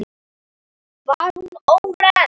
Var hún óhress?